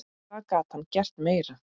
Hvað gat hann gert meira?